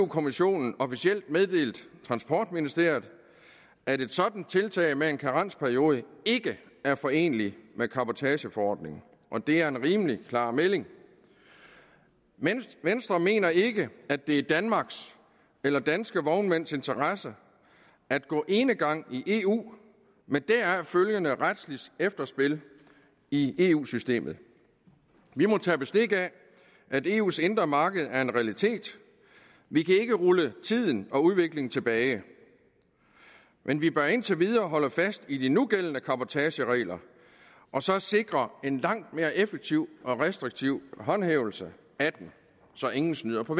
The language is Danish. kommissionen officielt meddelt transportministeriet at et sådant tiltag med en karensperiode ikke er foreneligt med cabotageforordningen og det er en rimelig klar melding venstre mener ikke at det er i danmarks eller i danske vognmænds interesse at gå enegang i eu med deraf følgende retsligt efterspil i eu systemet vi må tage bestik af at eus indre marked er en realitet vi kan ikke rulle tiden og udviklingen tilbage men vi bør indtil videre holde fast i de nugældende cabotageregler og så sikre en langt mere effektiv og restriktiv håndhævelse af dem så ingen snyder på